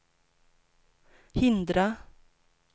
hindra